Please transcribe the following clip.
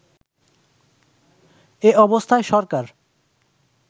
এ অবস্থায় সরকার